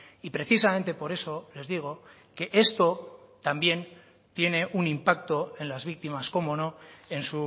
y precisamente por eso les digo que esto también tiene un impacto en las víctimas cómo no en